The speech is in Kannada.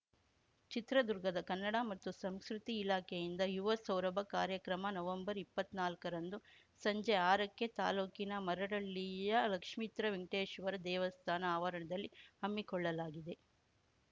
ಚಿತ್ರದುರ್ಗದ ಕನ್ನಡ ಮತ್ತು ಸಂಸ್ಕೃತಿ ಇಲಾಖೆಯಿಂದ ಯುವ ಸೌರಭ ಕಾರ್ಯಕ್ರಮ ನವಂಬರ್‌ ಇಪ್ಪತ್ನಾಲ್ಕ ರಂದು ಸಂಜೆ ಆರ ಕ್ಕೆ ತಾಲೂಕಿನ ಮರಡ್ಹಳ್ಳಿಯ ಲಕ್ಷಿತ್ರ್ಮೕವೆಂಕಟೇಶ್ವರ ದೇವಸ್ಥಾನ ಆವರಣದಲ್ಲಿ ಹಮ್ಮಿಕೊಳ್ಳಲಾಗಿದೆ